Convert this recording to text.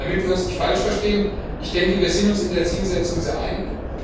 Damit wir uns nicht falsch verstehen Ich denke, wir sind uns in der Zielsetzung einig.